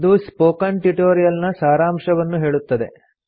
ಇದು spoken tutorial ನ ಸಾರಾಂಶವನ್ನು ಹೇಳುತ್ತದೆ